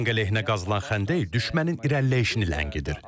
Tank əleyhinə qazılan xəndək düşmənin irəliləyişini ləngidir.